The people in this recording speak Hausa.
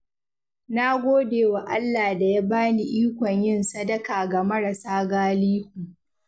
Na gode wa Allah da ya bani ikon yin sadaka ga marasa galihu.